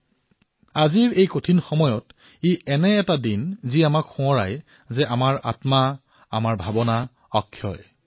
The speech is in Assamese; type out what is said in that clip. আজিৰ এই কঠিন সময়ছোৱাত আজি এক এনেকুৱা দিন যিয়ে আমাৰ আত্মা আমাৰ ভাৱনা অক্ষয় বুলি সোঁৱৰণ কৰায়